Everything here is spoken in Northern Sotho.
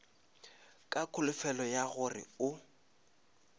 ka kholofelo ya gore o